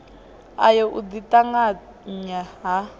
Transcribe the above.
ayo u ḓi ṱanganya ha